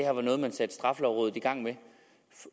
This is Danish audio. var noget man satte straffelovrådet i gang med